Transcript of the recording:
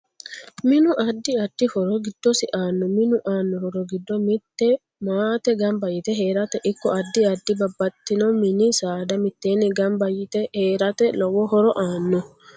Minnu addi addi horo giddosi aano minu aano horo giddo mitte maate ganba yite heerate ikko addi addi babxitino mini saada miteeni ganba yite heerate lowo horo aano